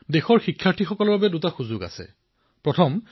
সমগ্ৰ দেশৰ বিদ্যাৰ্থী বন্ধুসকলে দুই ধৰণৰ সুবিধা পাব